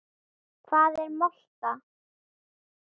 Hvað er molta?